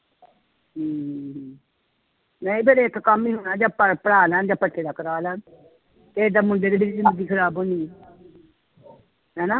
ਹਮ ਨਹੀਂ ਫਿਰ ਇੱਕ ਕੰਮ ਹੀ ਹੋਣਾ ਜਾਂ ਪ ਪੜ੍ਹਾ ਲੈਣ ਜਾਂ ਭੱਠੇ ਦਾ ਕਰਾ ਲੈਣ, ਏਦਾਂ ਮੁੰਡੇ ਦੀ ਜ਼ਿੰਦਗੀ ਖ਼ਰਾਬ ਹੋਣੀ ਹੈ ਹਨਾ।